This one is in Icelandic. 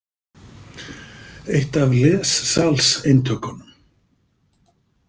Eitt af lessalseintökunum.